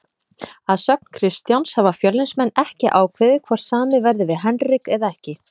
Að sögn Kristjáns hafa Fjölnismenn ekki ákveðið hvort samið verði við Henrik eða ekki.